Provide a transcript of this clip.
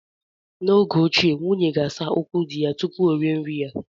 N'oge ochie, nwunye ga-asa ụkwụ di ya tupu o rie nri ya.